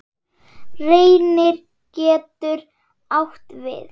Reynir getur átt við